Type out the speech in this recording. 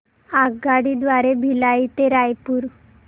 आगगाडी द्वारे भिलाई ते रायपुर